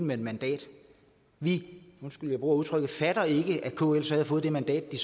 med et mandat vi undskyld jeg bruger udtrykket fatter ikke at kl så havde fået det mandat de